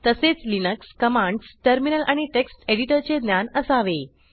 तसेच Linux commands terminal आणि text एडिटरचे ज्ञान असावे